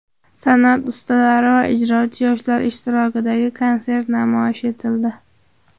San’at ustalari va ijrochi yoshlar ishtirokidagi konsert namoyish etildi.